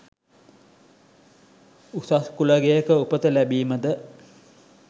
උසස් කුල ගෙයක උපත ලැබීමද